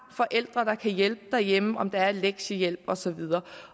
forældre der kan hjælpe derhjemme om der er lektiehjælp og så videre